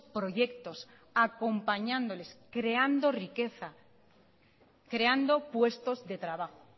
proyectos acompañándoles creando riqueza creando puestos de trabajo